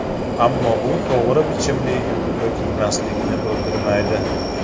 Ammo bu to‘g‘ri bichimli yubka kiymaslikni bildirmaydi.